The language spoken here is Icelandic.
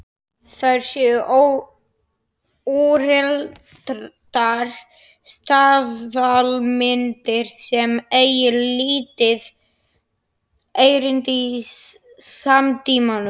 Þær séu úreltar staðalmyndir sem eigi lítið erindi í samtímanum.